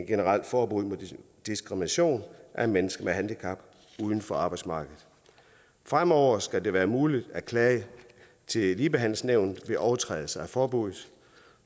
generelt forbud mod diskrimination af mennesker med handicap uden for arbejdsmarkedet fremover skal det være muligt at klage til ligebehandlingsnævnet ved overtrædelse af forbuddet